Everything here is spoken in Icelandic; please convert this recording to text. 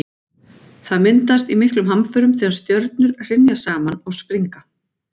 Það myndast í miklum hamförum þegar stjörnur hrynja saman og springa.